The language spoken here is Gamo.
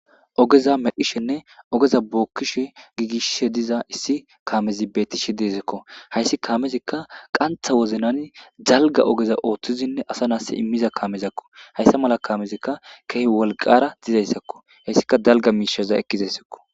Ogeza medhishenne ogeza gigisishe diza issi kamezi beetishe deesiko haysi kaamezika want ha wozanan dalga ogeza oothidine asanasi imiza kamezako haysa mala kaamezika kehi wolqara dizaysako haysika dalga misheza ekizaysako.